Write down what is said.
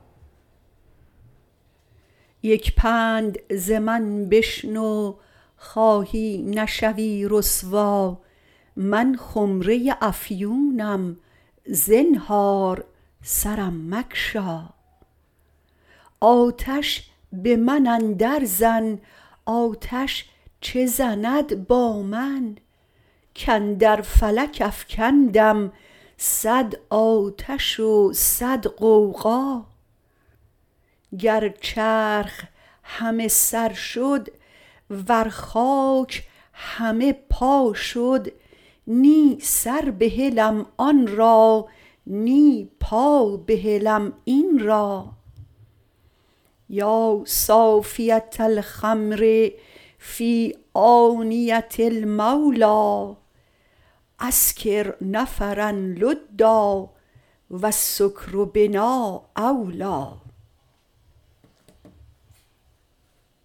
یک پند ز من بشنو خواهی نشوی رسوا من خمره ی افیونم زنهار سرم مگشا آتش به من اندرزن آتش چه زند با من کاندر فلک افکندم صد آتش و صد غوغا گر چرخ همه سر شد ور خاک همه پا شد نی سر بهلم آن را نی پا بهلم این را یا صافیه الخمر فی آنیه المولی اسکر نفرا لدا و السکر بنا اولی